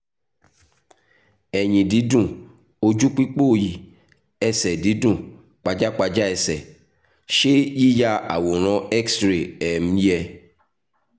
ẹ̀yìn dídùn ojú pípòòyì ẹsẹ̀ dídùn pajápajá ẹsẹ̀ ṣé yíya àwòrán x-ray um yẹ?